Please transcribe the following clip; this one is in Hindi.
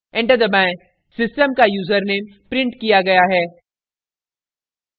enter दबाएं system का यूज़रनेम printed किया गया है